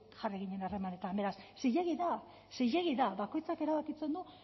jarri ginen harremanetan beraz zilegi da zilegi da bakoitzak erabakitzen du